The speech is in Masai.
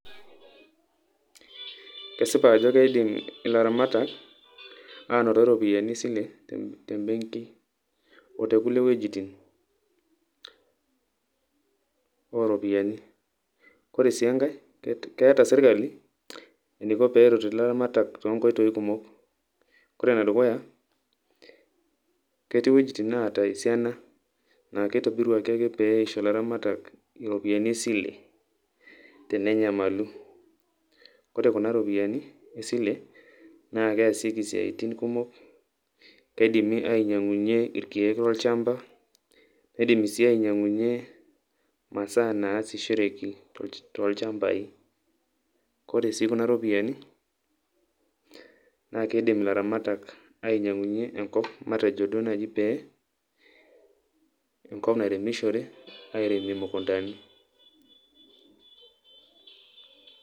kesipa ajo keidim ilaramatak anote iropiyiani e sile te benki, oo te kulie wuejitin oo ropiyiani. ore sii enkae, ore sii enkae keeta sirkali eneiko pee eret ilaramatak too nkoitoi kumok. ore ene dukuya ketii wuejitin naata esiana naa keitobiruaki ake pee eisho ilaramatak iropiyiani e sile tenenyamalu. ore kuna ropiyiani e sile naa kesieki siatin kumok keidimi ainyang'unye irkeek lolchamba, neidimi sii ainy'ang'unye masaa nasishoreki tolchambai. kore sii kuna ropiyiani naa keidim ilaramatak ainy'ang'unye enkop matejo duo naaji pee enkop nairemishore airemie imukuntani.